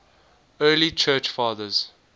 early church fathers